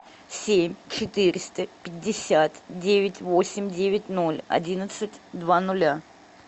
семь четыреста пятьдесят девять восемь девять ноль одиннадцать два нуля